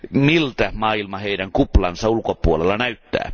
Miltä maailma heidän kuplansa ulkopuolella näyttää?